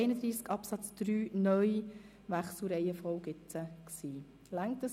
Wir haben jetzt über den Wechsel der Reihenfolge der Buchstaben unter Artikel 31 Absatz 3 (neu) abgestimmt.